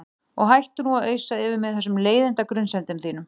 Og hættu nú að ausa yfir mig þessum leiðinda grunsemdum þínum.